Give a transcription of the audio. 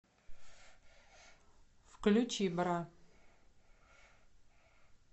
включи бра